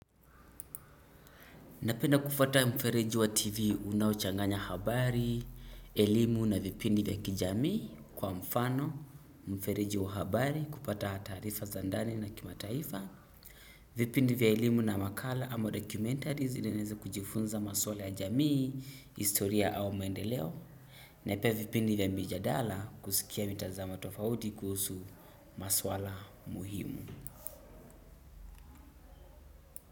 Napenda kufuata mfereji wa TV unao changanya habari, elimu na vipindi vya kijamii kwa mfano, mfereji wa habari, kupata taarifa za ndani na kimataifa. Vipindi vya elimu na makala ama documentaries zile naeza kujifunza maswala ya jamii, historia au maendeleo. Na pia vipindi vya mijadala kusikia mitazamo tofauti kuhusu maswala muhimu.